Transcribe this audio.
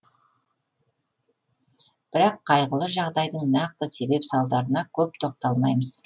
бірақ қайғылы жағдайдың нақты себеп салдарына көп тоқталмаймыз